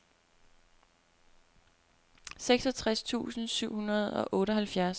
seksogtres tusind syv hundrede og otteoghalvfjerds